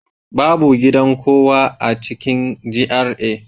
Babu gidan kowa a cikin GRA